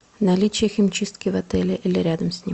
наличие химчистки в отеле или рядом с ним